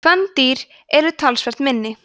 kvendýrin eru talsvert minni